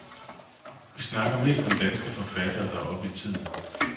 Vi snakker mest om danske forfattere, der er oppe i tiden.